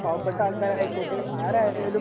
പാവപ്പെട്ട ആൾക്കാർ ആയിക്കോട്ടെ ആരായാലും